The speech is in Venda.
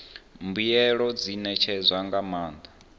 mbuelo dzi ṋetshedzwa nga maanḓa